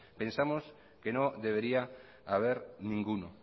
pensamos que no debería haber ninguno